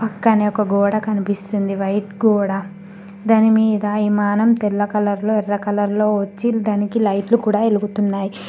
పక్కనే ఒక గోడ కనిపిస్తుంది వైట్ గోడ దానిమీద విమానం తెల్ల కలర్ లో ఎర్ర కలర్ లో వచ్చి దానికి లైట్లు కూడా.